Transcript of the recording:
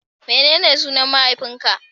Menene sunan mahaifin ka?